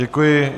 Děkuji.